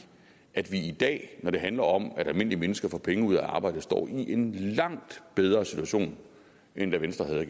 at vi i dag når det handler om at almindelige mennesker får penge ud af at arbejde står i en langt bedre situation end da venstre havde